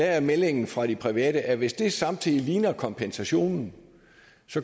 er meldingen fra de private at hvis det samtidig ligner kompensationen